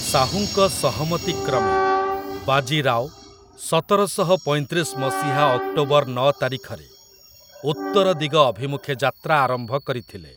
ଶାହୁଙ୍କ ସହମତି କ୍ରମେ, ବାଜି ରାଓ, ସତରଶହ ପଇଁତିରିଶ ମସିହା ଅକ୍ଟୋବର ନଅ ତାରିଖରେ, ଉତ୍ତରଦିଗ ଅଭିମୁଖେ ଯାତ୍ରା ଆରମ୍ଭ କରିଥିଲେ ।